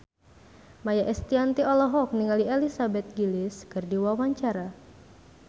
Maia Estianty olohok ningali Elizabeth Gillies keur diwawancara